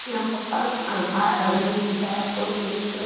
यहां पे अह अह बाहर अंदर की तरफ एक--